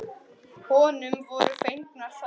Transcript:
Honum voru fengnar þær.